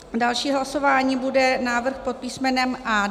Další hlasování bude návrh pod písm.